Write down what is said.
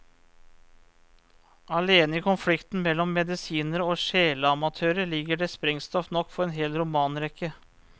Alene i konflikten mellom medisinere og sjeleamatører ligger det sprengstoff nok for en hel romanrekke.